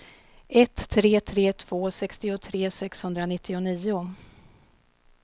ett tre tre två sextiotre sexhundranittionio